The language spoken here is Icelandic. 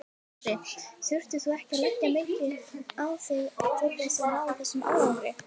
Andri: Þurftir þú að leggja mikið á þig til þess að ná þessum árangri?